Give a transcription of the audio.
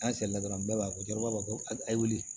An seli la dɔrɔn bɛɛ b'a fɔ ko cɛkɔrɔba ko a ye wuli